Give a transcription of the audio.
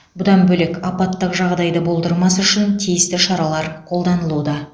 бұдан бөлек апаттық жағдайды болдырмас үшін тиісті шаралар қолданылуда